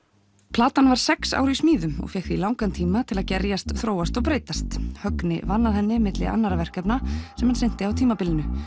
platan var sex ár í smíðum og fékk því langan tíma til að gerjast þróast og breytast Högni vann að henni milli annarra verkefna sem hann sinnti á tímabilinu